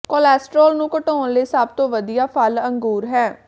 cholesterol ਨੂੰ ਘਟਾਉਣ ਲਈ ਸਭ ਤੋਂ ਵਧੀਆ ਫਲ ਅੰਗੂਰ ਹੈ